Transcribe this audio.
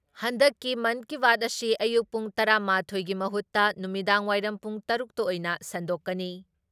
ꯍꯟꯗꯛꯀꯤ ꯃꯟꯀꯤꯕꯥꯠ ꯑꯁꯤ ꯑꯌꯨꯛ ꯄꯨꯡ ꯇꯔꯥ ꯃꯥꯊꯣꯏꯒꯤ ꯃꯍꯨꯠꯇ ꯅꯨꯃꯤꯗꯥꯡꯋꯥꯏꯔꯝ ꯄꯨꯡ ꯇꯔꯨꯛ ꯇ ꯑꯣꯏꯅ ꯁꯟꯗꯣꯛꯀꯅꯤ ꯫